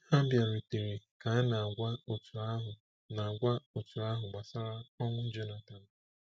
Ha bịarutere ka a na-agwa otu ahụ na-agwa otu ahụ gbasara ọnwụ Jonathan.